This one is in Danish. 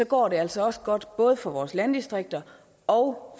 går det altså også godt både for vores landdistrikter og